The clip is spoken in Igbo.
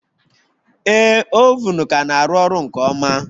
Ee, oven ka na-arụ ọrụ nke ọma